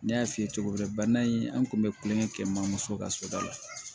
N y'a f'i ye cogo min bana in an kun be kulonkɛ kɛ mamuso ka so da la